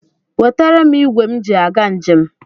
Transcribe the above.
Wetere m ịgwe m ji aga njem.